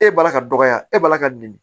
E b'a la ka dɔgɔya e b'a la ka dimi